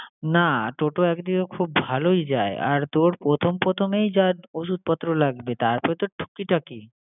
না toto একদিকে খুব ভালোই যায় আর তোর প্রথম প্রথমেই যা ঔষুধপত্র লাগবে তারপর তো টুকিটাকি